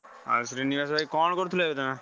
ଆଉ ଶ୍ରୀନିବାସ ଭାଇ କଣ କରୁଥିଲ କି ତମେ?